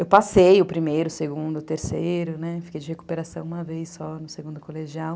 Eu passei o primeiro, o segundo, o terceiro, fiquei de recuperação uma vez só no segundo colegial.